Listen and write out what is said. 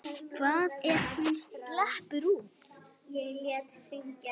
Hvað ef hún sleppur út?